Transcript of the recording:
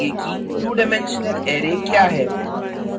two dimensional array क्या है